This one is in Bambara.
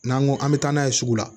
N'an ko an bɛ taa n'a ye sugu la